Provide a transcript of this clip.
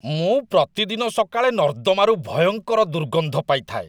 ମୁଁ ପ୍ରତିଦିନ ସକାଳେ ନର୍ଦ୍ଦମାରୁ ଭୟଙ୍କର ଦୁର୍ଗନ୍ଧ ପାଇଥାଏ